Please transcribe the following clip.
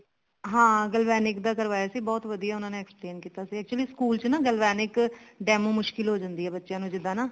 ਹਾਂ galvanic ਦਾ ਕਰਵਾਇਆ ਸੀ ਬਹੁਤ ਵਧੀਆ ਉਹਨਾਂ ਨੇ explain ਕੀਤਾ ਸੀ actually school ਚ ਨਾ galvanic demo ਮੁਸ਼ਕਿਲ ਹੋ ਜਾਂਦੀ ਆ ਬੱਚਿਆਂ ਨੂੰ ਜਿੱਦਾਂ ਨਾ